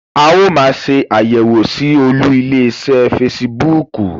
Áà ó máa ṣé àyẹ̀wọ̀ síí Olú ilé iṣẹ́ fésííbùùkù.